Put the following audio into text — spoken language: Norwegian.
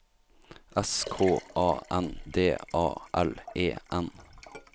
S K A N D A L E N